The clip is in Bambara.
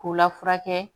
K'u lafuyɛ